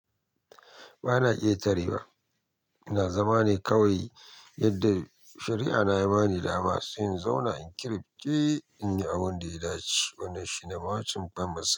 Ba na iya tare wa. Ina zama ne kawai, yadda shari'a na yi bani dama, sai in zauna in kira ke in yi abun da ya dace. Wannan shi ne bamabancin famasi.